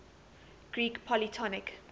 greek polytonic